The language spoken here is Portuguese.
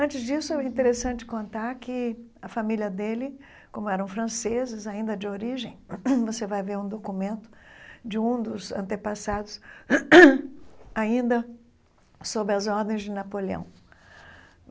Antes disso, é interessante contar que a família dele, como eram franceses ainda de origem, você vai ver um documento de um dos antepassados ainda sob as ordens de Napoleão.